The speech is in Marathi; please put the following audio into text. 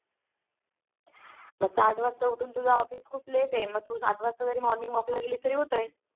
. मग सात वाजता उठून तुझं Office खूप Late आहे मग तू सात वाजता जरी Morning walk ला गेली तरी होतय